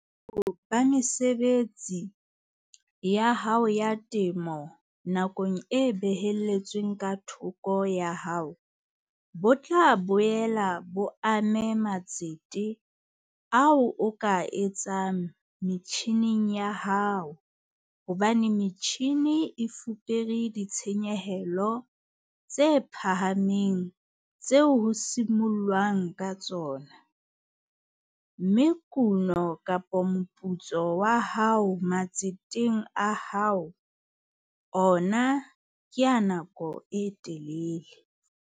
Boholo ba mesebetsi ya hao ya temo nakong e behelletsweng ka thoko ya hao bo tla boela bo ame matsete ao o ka a etsang metjhineng ya hao hobane metjhine e fupere ditshenyehelo tse phahameng tseo ho simollwang ka tsona, mme kuno kapa moputso wa hao matseteng a hao ona ke a nakong e telele.